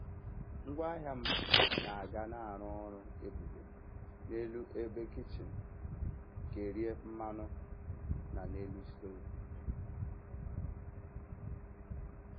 Ngwaahịa m na-aga na-arụ ọrụ ebube n'elu ebe kichin kerie mmanụ na n'elu stovu.